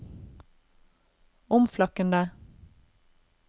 omflakkende